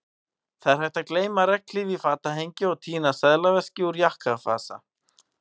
Það er hægt að gleyma regnhlíf í fatahengi og týna seðlaveski úr jakkavasa